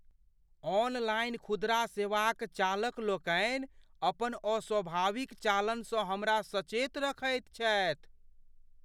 Online खुदरा सेवाक चालकलोकनि अपन अस्वाभाविक चालनसँ हमरा सचेत रखैत छथि।